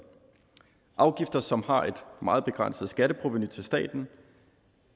afgifter som har et meget begrænset skatteprovenu til staten